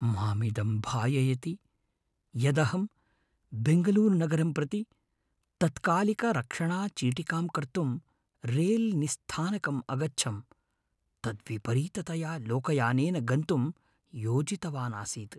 मामिदं भाययति यदहं बेङ्गलूरुनगरं प्रति तत्कालिकारक्षणचीटिकां कर्तुं रेलनिस्थानकम् अगच्छम्, तद्विपरीततया लोकयानेन गन्तुं योजितवानासीत्।